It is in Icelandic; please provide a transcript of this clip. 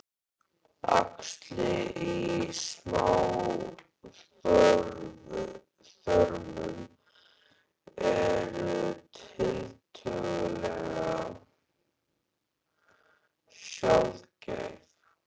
Æxli í smáþörmum eru tiltölulega sjaldgæf.